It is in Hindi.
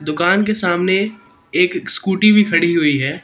दुकान के सामने एक स्कूटी भी खड़ी हुई है।